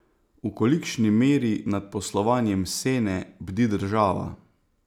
V kolikšni meri nad poslovanjem Sene bdi država?